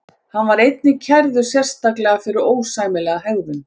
Hann var einnig kærður sérstaklega fyrir ósæmilega hegðun.